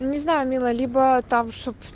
не знаю милая либо там чтоб